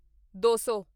ਦੋ ਸੌ